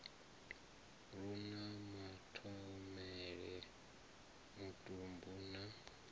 lu na mathomele mutumbu na